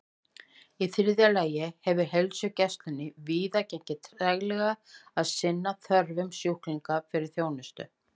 Í þriðja lagi hefur heilsugæslunni víða gengið treglega að sinna þörfum sjúklinga fyrir þjónustu.